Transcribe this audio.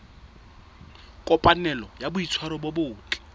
kopanelo ya boitshwaro bo botle